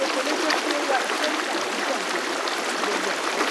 pepele jé kí o wá iṣẹ ní àdúgbò agbègbè àti gbogbo agbáyé